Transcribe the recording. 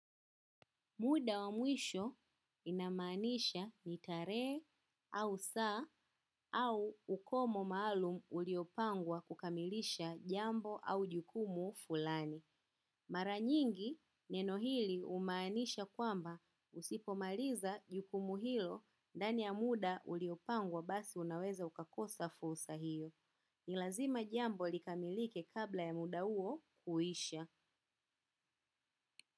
Muda wa mwisho inamaanisha nitarehe au saa au ukomo maalum uliopangwa kukamilisha jambo au jukumu fulani. Maranyingi neno hili humaanisha kwamba usipomaliza jukumu hilo ndani ya muda uliopangwa basi unaweza ukakosa fursa hiyo. Ni lazima jambo likamilike kabla ya muda huo kuisha.